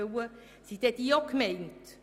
Sind diese mitgemeint?